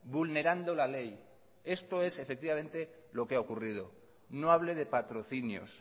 vulnerando la ley esto es efectivamente lo que ha ocurrido no hable de patrocinios